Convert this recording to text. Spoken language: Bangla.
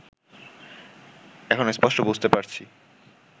এখন স্পষ্ট বুঝতে পারছি